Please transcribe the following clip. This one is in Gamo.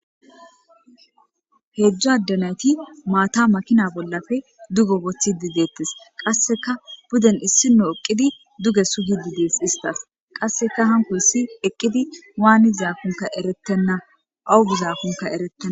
Heedzdo addanayti maata makina bollafe dugo bothi didettes qasseka buden issino eqqidi duge sugi didees istas qasseka hanko issi eqqidi waani zaakunka eretenna awugizaakunka ereten.